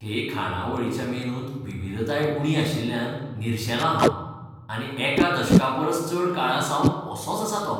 हे खाणावळीच्या मेनूंत विविधताय उणी आशिल्ल्यान निरशेलां हांव आनी एका दशकापरस चड काळासावन असोच आसा तो.